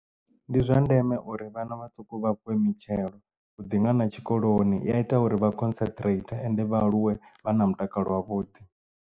Ndi zwa ndeme uri vhana vhaṱuku vha fhiwe mitshelo huḓi nga na tshikoloni i a ita uri vha concentrator ende vha aluwe vha na mutakalo wavhuḓi.